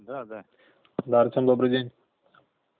да да да артём добрый день